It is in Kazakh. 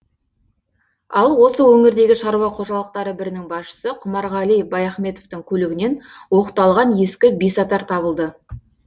ал осы өңірдегі шаруа қожалықтары бірінің басшысы құмарғали баяхметовтың көлігінен оқталған ескі бесатар табылды